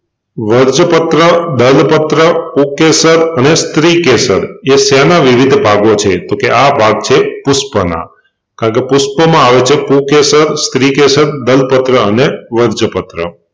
વજ્રપત્ર, દલપત્ર, પુંકેસર અને સ્ત્રીકેસર એ શેનાં વિવિધ ભાગો છે? તોકે આ ભાગ છે પુષ્પનાં કારણકે પુષ્પમાં આવે છે પુંકેસર, સ્ત્રીકેસર, દલપત્ર અને વજ્રપત્ર